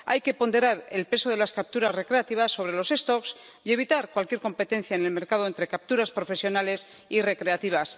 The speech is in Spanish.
Hay que ponderar el peso de las capturas recreativas sobre las poblaciones y evitar cualquier competencia en el mercado entre capturas profesionales y recreativas.